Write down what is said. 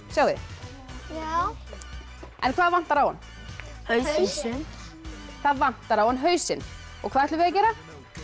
sjáið þið já en hvað vantar á hann hausinn það vantar á hann hausinn og hvað ætlum við að gera